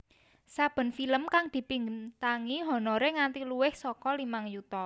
Saben film kang dibintangi honoré nganti luwih saka limang yuta